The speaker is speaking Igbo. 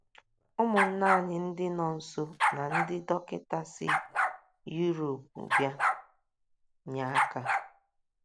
Ụmụnna anyị ndị nọọsụ na ndị dọkịta si Yurop bịa nye aka